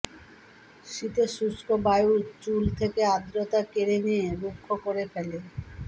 শীতের শুষ্ক বায়ু চুল থেকে আর্দ্রতা কেড়ে নিয়ে রুক্ষ করে ফেলে